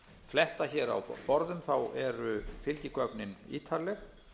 fletta hér á borðum eru fylgigögnin ítarleg